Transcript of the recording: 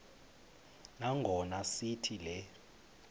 nangona sithi le